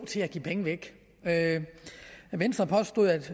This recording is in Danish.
til at give penge væk venstre påstod at